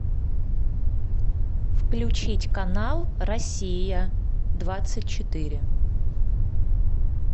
включить канал россия двадцать четыре